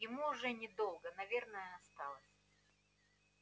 ему уже недолго наверное осталось